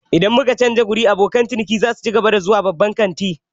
Idan muka canza wuri, abokan ciniki za su cigaba da zuwa babban kantin?